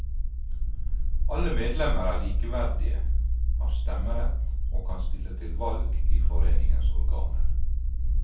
Alle medlemmer er likeverdige, har stemmerett og kan stille til valg i foreningens organer.